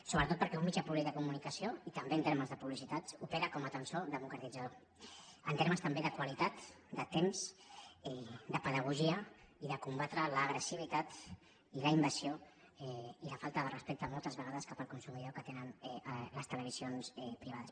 sobretot perquè un mitjà públic de comunicació i també en termes de publicitat opera com a tensor democratitzador en termes també de qualitat de temps de pedagogia i de combatre l’agressivitat i la invasió i la falta de respecte moltes vegades cap al consumidor que tenen les televisions privades